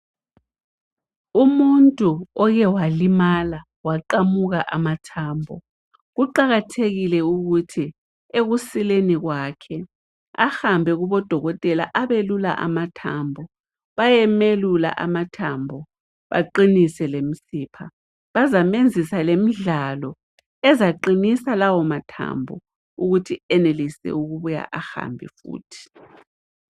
Umuntu oke walimala waqamuka amathambo, kuqakathekile ukuthi ekusileni kwakhe ahambe kubodokotela abelula amathambo bayemelula amathambo aqinise lemisipha bazamenzisa lemidlalo ezaqinisa lawo mathambo ukuthi enelise ukubuya ahambe futhi.